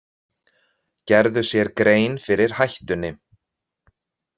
Gerðu sér grein fyrir hættunni